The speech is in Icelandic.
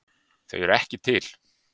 Þau eru ekki til.